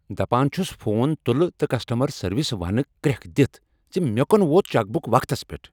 دپان چھُس فون تُلہ تہ کسٹمر سٔروسس ونہٕ کریکھ دِتھ زِ مےٚ کونہ ووت چیک بُک وقتس پیٹھ۔